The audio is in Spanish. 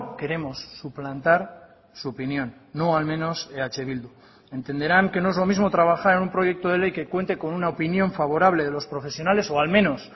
queremos suplantar su opinión no al menos eh bildu entenderán que no es lo mismo trabajar en un proyecto de ley que cuente con una opinión favorable de los profesionales o al menos